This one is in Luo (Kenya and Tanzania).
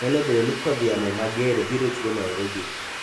Nyalo bedo ni kodh yamo mager biro chwe Nairobi